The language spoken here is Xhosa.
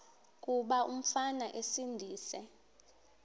kuba umfana esindise